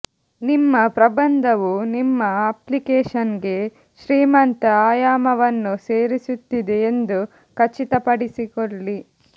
ನಿಮ್ಮ ಪ್ರಬಂಧವು ನಿಮ್ಮ ಅಪ್ಲಿಕೇಶನ್ಗೆ ಶ್ರೀಮಂತ ಆಯಾಮವನ್ನು ಸೇರಿಸುತ್ತಿದೆ ಎಂದು ಖಚಿತಪಡಿಸಿಕೊಳ್ಳಿ